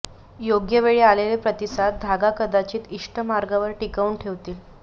योग्य वेळी आलेले प्रतिसाद धागा कदाचित इश्ठ मार्गावर टिकवून ठेवतील